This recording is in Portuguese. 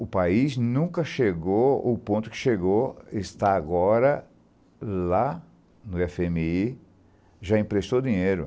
O país nunca chegou ao ponto que chegou, está agora lá no efe eme i, já emprestou dinheiro.